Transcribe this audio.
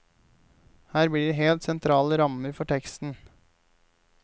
Her blir de helt sentrale rammer for teksten.